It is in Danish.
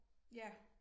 Ja